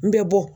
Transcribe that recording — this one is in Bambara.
N bɛ bɔ